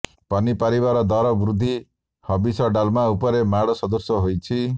ପନିପରିବାର ଦର ବୃଦ୍ଧି ହବିଷ ଡାଲମା ଉପରେ ମାଡ ସଦୃଶ ହୋଇଛି